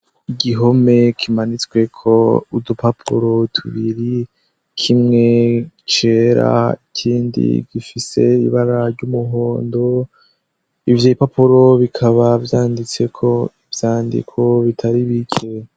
Igihome kimanitsweko udupapuro tubiri. Kimwe cera ikindi gifise ibara ry'umuhondo . Ivyo bipapuro bikaba vyanditseko ivyandiko bitari bike.